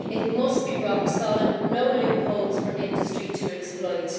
It must be rock solid, with no loopholes for industry to exploit.